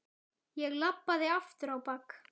Ég labbaði aftur á bak.